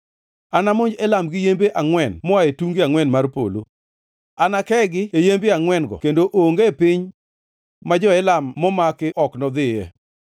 Anamonj Elam gi yembe angʼwen moa e tunge angʼwen mar polo; anakegi e yembe angʼwen-go kendo onge piny ma jo-Elam momaki ok nodhiye.